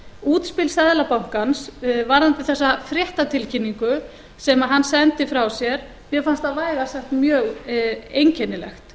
útspil seðlabankans varðandi þessa fréttatilkynningu sem hann sendi frá sér mér fannst það vægast sagt mjög einkennilegt